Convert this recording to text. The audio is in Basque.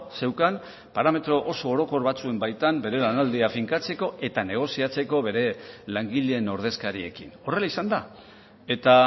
zeukan parametro oso orokor batzuen baitan bere lanaldia finkatzeko eta negoziatzeko bere langileen ordezkariekin horrela izan da eta